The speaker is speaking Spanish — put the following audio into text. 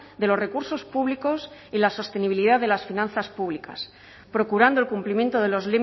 de los recursos públicos y la sostenibilidad de las finanzas públicas procurando el cumplimiento de los